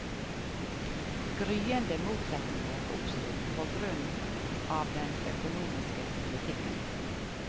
Gryende motsetninger oppsto også på grunn av den økonomiske politikken.